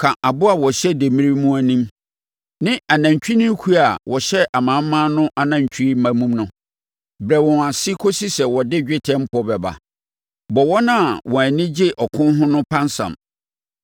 Ka aboa a ɔhyɛ demmire mu no anim, ne anantwinini kuo a wɔhyɛ amanaman no anantwie mma mu no. Brɛ wɔn ase kɔsi sɛ wɔde dwetɛ mpɔ bɛba. Bɔ wɔn a wɔn ani gye ɔko ho no pansam.